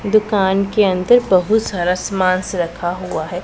दुकान के अंदर बहुत सारा सामानस रखा हुआ है।